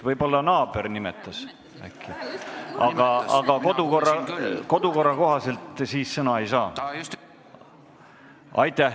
Võib-olla teie naaber niisama nimetas, aga kodukorra kohaselt sel juhul sõna ei saa.